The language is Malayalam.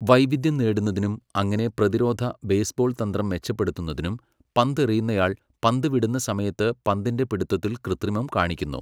വൈവിധ്യം നേടുന്നതിനും അങ്ങനെ പ്രതിരോധ ബേസ്ബോൾ തന്ത്രം മെച്ചപ്പെടുത്തുന്നതിനും, പന്തെറിയുന്നയാൾ പന്ത് വിടുന്ന സമയത്ത് പന്തിൻ്റെ പിടുത്തത്തിൽ കൃത്രിമം കാണിക്കുന്നു.